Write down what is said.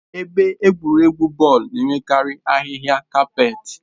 Ebe egwuregwu bọọlụ na-enwekarị ahịhịa kapet.